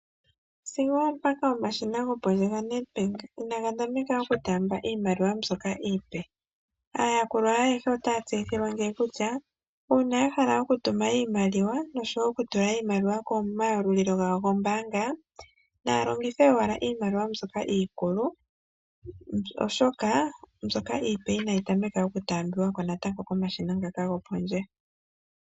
Sigo oompaka omashina gopondje gaNedBank inaga tameka okutaamba iimaliwa mbyoka iipe. Aayakulwa ye ayehe otaya tseyithilwa ngeyi kutya uuna ya hala okutuma iimaliwa nosho wo okutula iimaliwa komayalulilo gayo gombaanga naya longithe owala iimaliwa mbyoka iikulu oshoka mbyoka iipe inayi tameka natango okutaambiwa ko komashina ngaka gopondje.